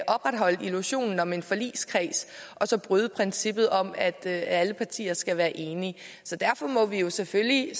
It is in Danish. opretholde illusionen om en forligskreds og så bryde princippet om at alle partier skal være enige derfor må vi jo selvfølgelig